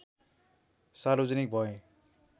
सार्वजनिक भए